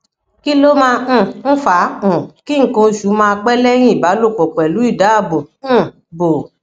kí ló máa um ń fa um ki nkan osu ma pẹ leyin ìbálòpọ pelu idaabo um bo